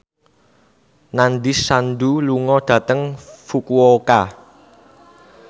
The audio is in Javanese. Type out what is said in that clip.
Nandish Sandhu lunga dhateng Fukuoka